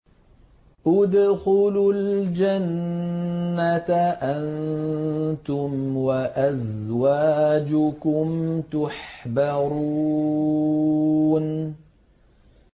ادْخُلُوا الْجَنَّةَ أَنتُمْ وَأَزْوَاجُكُمْ تُحْبَرُونَ